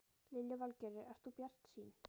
Lillý Valgerður: Ert þú bjartsýn?